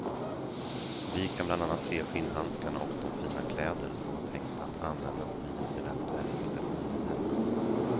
Vi kan bland annat se skinnhandskarna och de fina kläder som var tänkta att användas vid en eventuell procession vid hemkomsten.